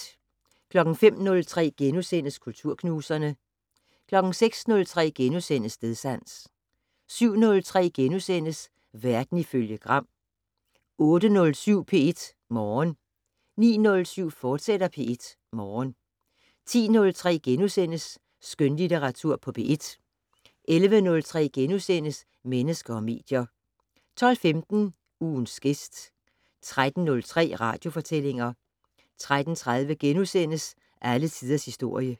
05:03: Kulturknuserne * 06:03: Stedsans * 07:03: Verden ifølge Gram * 08:07: P1 Morgen 09:07: P1 Morgen, fortsat 10:03: Skønlitteratur på P1 * 11:03: Mennesker og medier * 12:15: Ugens gæst 13:03: Radiofortællinger 13:30: Alle tiders historie *